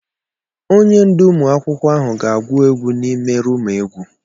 Onye ndú ụmụ akwụkwọ ahụ ga-agwụ egwu n'ime ruumu egwu.